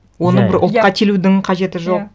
оны бір ұлтқа телудің қажеті жоқ иә